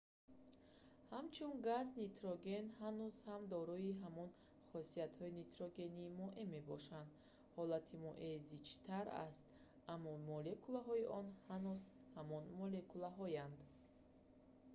ҳамчун газ нитроген ҳанӯз ҳам дорои ҳамон хосиятҳои нитрогени моеъ мебошад ҳолати моеъ зичтар аст аммо молекулаҳои он ҳанӯз ҳамон молекулаҳоянд